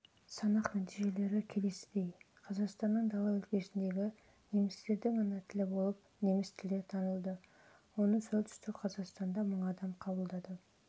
санақ нәтижелері келесідей қазақстанның дала өлкесіндегі немістердің ана тілі болып неміс тілі танылды оны солтүстік қазақстанда мың адам